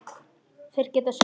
Þeir geta synt.